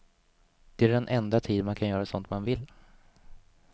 Det är den enda tid man kan göra sånt man vill.